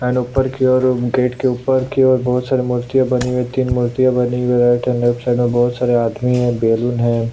N ऊपर की ओर गेट के ऊपर की ओर बहुत सारी मूर्तियां बनी हुई है तीन मूर्तियां बनी हुई है लेफ्ट साइड में बहुत सारे आदमी है बल्लून है |